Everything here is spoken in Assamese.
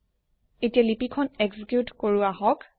এতিয়া লিপি খন এক্সিকিউত কৰো আহক